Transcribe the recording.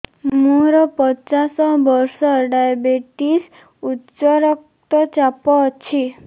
ମୋର ପଚାଶ ବର୍ଷ ଡାଏବେଟିସ ଉଚ୍ଚ ରକ୍ତ ଚାପ ଅଛି